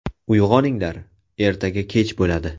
Uyg‘oninglar, ertaga kech bo‘ladi.